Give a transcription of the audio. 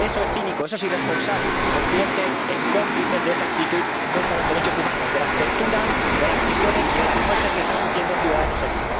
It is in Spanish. Eso es cínico, eso es irresponsable y nos convierte en cómplices de esa actitud contra los derechos humanos, de las torturas, de las prisiones y de las muertes que están sufriendo ciudadanos allí.